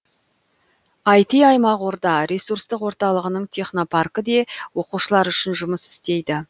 іт аймақ орда ресурстық орталығының технопаркі де оқушылар үшін жұмыс істейді